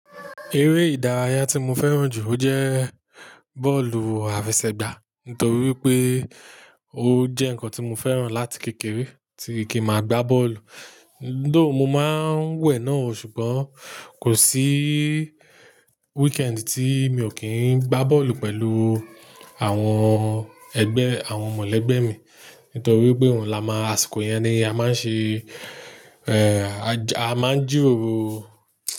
Eré ìdárayá tí mo fẹ́ràn jù, ó jẹ́ bọ́ọ̀lù àfẹsẹ̀gbá, nítorí pé ó jẹ́ nǹkan tí mo fẹ́ràn láti kékeré tí se kì n máa gbá bọ́ọ̀lù. Tho, mo máa ń wẹ̀ náà, ṣùgbọ́n kò sí weekend tí mi ò kí ń gbá bọ́ọ̀lù pẹ̀lú àwọn ẹgbẹ́, àwọn mọ̀lẹ́gbẹ́ mi. Nítorí pé òhun la máa asiko yeń ni a man ṣe, ẹ́, a máa ń jíròro.